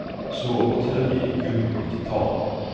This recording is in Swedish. Sobert hölje i gummi och titan.